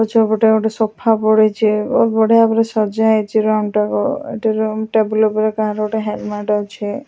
ପଛପଟେ ଗୋଟେ ସଫା ପଡିଚି ଓ ବଢିଆ ଭାବରେ ସଜା ହେଇଚି ରୁମ୍ ଟାକୁ ଏଠି ରୁମ୍ ଟେବୁଲ ଉପରେ କାହାର ଗୋଟେ ହେଲମେଟ ଅଛି।